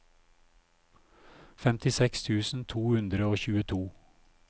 femtiseks tusen to hundre og tjueto